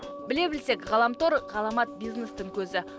біле білсек ғаламтор ғаламат бизнестің көзі